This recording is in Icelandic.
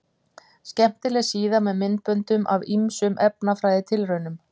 Skemmtileg síða með myndböndum af ýmsum efnafræðitilraunum.